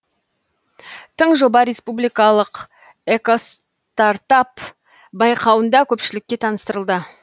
тың жоба республикалық экостартап байқауында көпшілікке таныстырылды